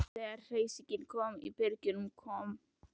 Þegar hersingin kom að byrginu kom